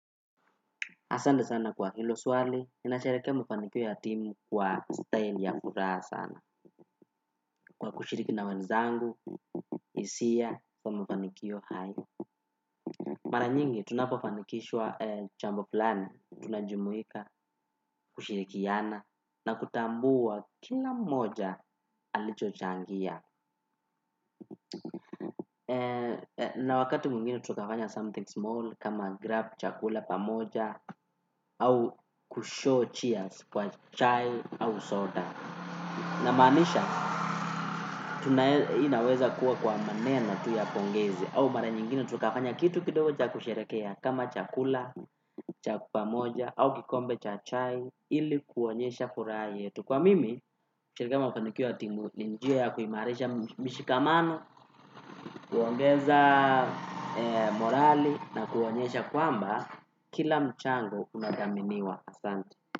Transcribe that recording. Asante sana kwa hilo swali, ninasherehekea mafanikio ya timu kwa style ya furaha sana. Kwa kushiriki na wenzangu, hisia kwa mufanikio haya. Mara nyingi, tunapofanikishwa jambo fulani, tunajumuika, kushirikiana na kutambua kila moja alicho changia. Na wakati mwingine, tukafanya something small kama grab chakula pamoja au kushow cheers kwa chai au soda. Namanisha, tunaweza kuwa kwa maneno tu ya pongezi au mara nyingine, tukafanya kitu kidogo cha kusherehekea kama chakula, chaku pamoja, au kikombe cha chai. Ili kuonyesha furaha yetu kwa mimi kusherehekea mafanikio ya timu ni njia ya kuimarisha mishikamano. Kuongeza morali na kuonyesha kwamba kila mchango unadhaminiwa asante.